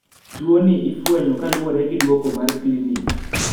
tuo ni ifwenyo kaluore gi duoko mar klinic